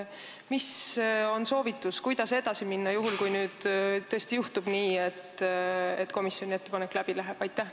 Mis on soovitus, kuidas edasi minna juhul, kui tõesti juhtub nii, et komisjoni ettepanek läbi läheb?